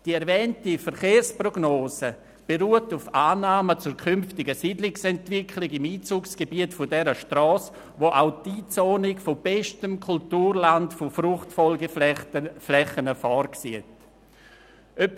Die erwähnte Verkehrsprognose beruht auf Annahmen zur künftigen Siedlungsentwicklung im Einzugsgebiet dieser Strasse, bei der auch die Einzonung von bestem Kulturland mit Fruchtfolgeflächen vorgesehen ist.